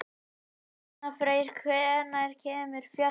Arnfreyr, hvenær kemur fjarkinn?